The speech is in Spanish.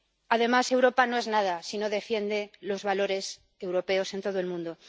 Además, Europa no es nada si no defiende los valores europeos en todo el mundo.